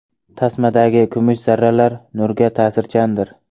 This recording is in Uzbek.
Tasmadagi kumush zarralar nurga ta’sirchandir.